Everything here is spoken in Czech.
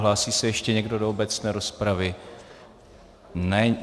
Hlásí se ještě někdo do obecné rozpravy?